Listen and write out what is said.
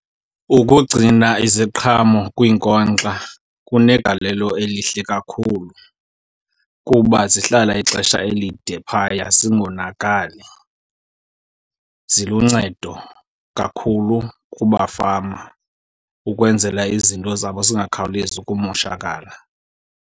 Ukugcina iziqhamo kwiinkonkxa kunegalelo elihle kakhulu kuba zihlala ixesha elide phaya zingonakali. Ziluncedo kakhulu kubafama ukwenzela izinto zabo zingakhawulezi ukumoshakala.